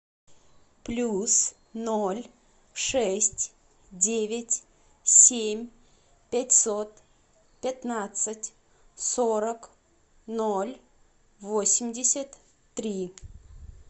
плюс ноль шесть девять семь пятьсот пятнадцать сорок ноль восемьдесят три